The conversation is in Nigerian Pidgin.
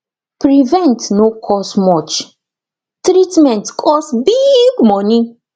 prevent no cost much treatment cost big money